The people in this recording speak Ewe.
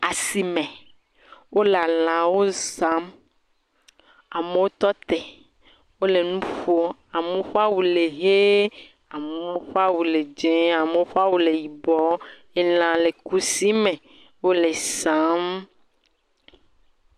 Asime, wole lãwo sam, amewo tɔ te, wole nu ƒom, amewo ƒe awu le ʋie, amewo ƒe awu le dzɛ̃, amewo ƒe awu le yibɔ, lã le kusi me, wole saam.